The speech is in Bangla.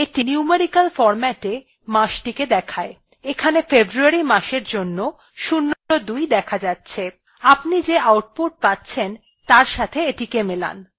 এইটি numerical ফরম্যাটে matchthe দেয় এখানে february মাসের জন্য ০২ দেখা যাচ্ছে আপনি যে output পাচ্ছেন তার সাথে এটিকে মেলান